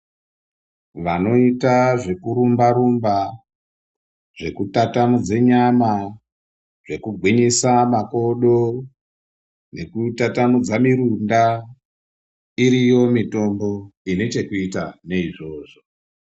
Vanoita zvekurumba rumba zvekutatamudze nyama nekugwinyisa makodo nekutatamudza mirunda iriyo mitombo Ine chekuita neizvozvo.